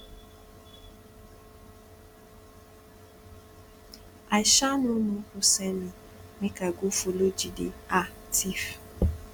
i um no know who send me make i go follow jide um thief